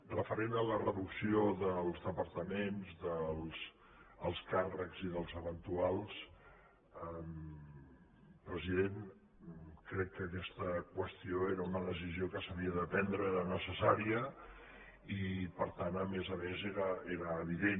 referent a la reducció dels departaments dels alts càrrecs i dels eventuals president crec que aquesta qüestió era una decisió que s’havia de prendre era necessària i per tant a més a més era evident